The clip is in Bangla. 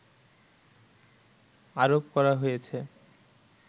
আরোপ করা হয়েছে